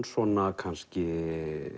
svona kannski